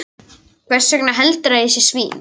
Hversvegna heldurðu að ég sé að því?